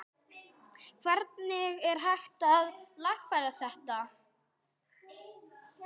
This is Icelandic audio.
Hvernig er hægt að lagfæra þetta?